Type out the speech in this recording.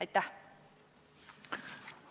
Aitäh!